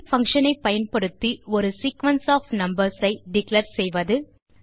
array function ஐ பயன்படுத்தி ஒரு சீக்வென்ஸ் ஒஃப் நம்பர்ஸ் ஐ டிக்ளேர் செய்வது